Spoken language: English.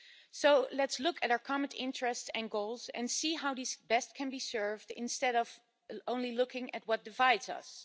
So let's look at our common interests and goals and see how these can best be served instead of only looking at what divides us.